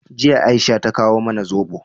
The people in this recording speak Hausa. Jiya, Aisha ta kawo mana zobo.